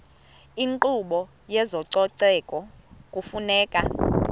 inkqubo yezococeko kufuneka